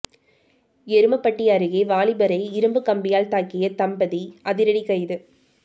எருமப்பட்டி அருகே வாலிபரை இரும்பு கம்பியால் தாக்கிய தம்பதி அதிரடி கைது